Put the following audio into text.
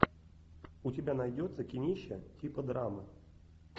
у тебя найдется кинище типа драмы